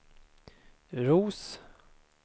Roos